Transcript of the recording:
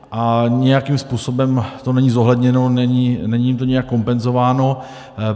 A nijakým způsobem to není zohledněno, není to nijak kompenzováno.